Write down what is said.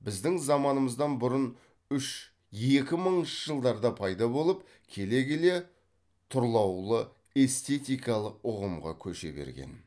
біздің заманымыздан бұрын үш екі мыңыншы жылдарда пайда болып келе келе тұрлаулы эстетикалық ұғымға көше берген